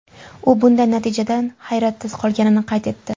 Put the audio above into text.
U bunday natijadan hayratda qolganini qayd etdi.